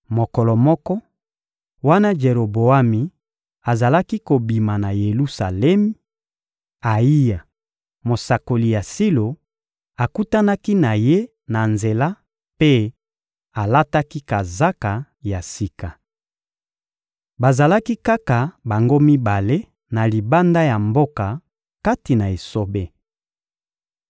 Mokolo moko, wana Jeroboami azalaki kobima na Yelusalemi, Ayiya, mosakoli ya Silo, akutanaki na ye na nzela mpe alataki kazaka ya sika. Bazalaki kaka bango mibale na libanda ya mboka, kati na esobe.